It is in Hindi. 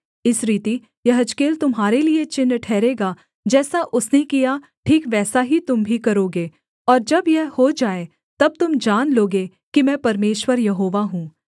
इस रीति यहेजकेल तुम्हारे लिये चिन्ह ठहरेगा जैसा उसने किया ठीक वैसा ही तुम भी करोगे और जब यह हो जाए तब तुम जान लोगे कि मैं परमेश्वर यहोवा हूँ